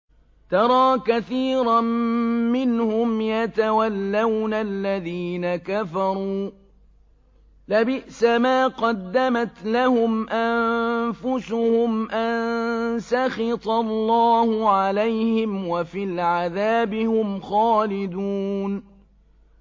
تَرَىٰ كَثِيرًا مِّنْهُمْ يَتَوَلَّوْنَ الَّذِينَ كَفَرُوا ۚ لَبِئْسَ مَا قَدَّمَتْ لَهُمْ أَنفُسُهُمْ أَن سَخِطَ اللَّهُ عَلَيْهِمْ وَفِي الْعَذَابِ هُمْ خَالِدُونَ